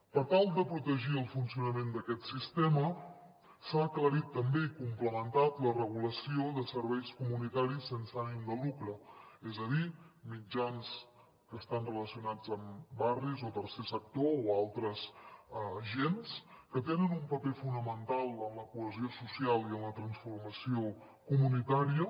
per tal de protegir el funcionament d’aquest sistema s’ha aclarit també i complementat la regulació de serveis comunitaris sense ànim de lucre és a dir mitjans que estan relacionats amb barris o tercer sector o altres agents que tenen un paper fonamental en la cohesió social i en la transformació comunitària